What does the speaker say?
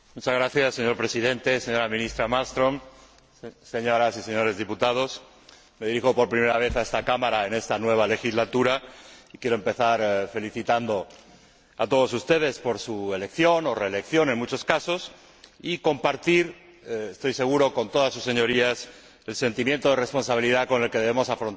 Señor Presidente, señora Ministra Malmström, señoras y señores diputados, me dirijo por primera vez a esta Cámara en esta nueva legislatura y quiero empezar felicitando a todos ustedes por su elección, o reelección en muchos casos, y compartir, estoy seguro, con todas sus Señorías el sentimiento de responsabilidad con el que debemos afrontar